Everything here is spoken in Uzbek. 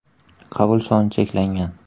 Qabul soni cheklangan!